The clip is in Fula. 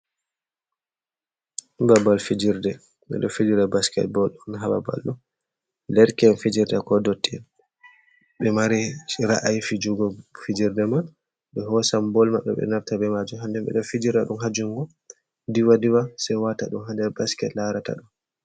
Babbal fijerde bedo fijira basket bol don hababal ɗo, derken fijerde ko dotti'en ɓe mari ra’ayi jugo fijerde man be hosan bol maɓɓe ɓe nasta be majum hander ɓe ɗo fijira dum hajungo diwa-diwa se wata ɗum ha der basket larata ɗo.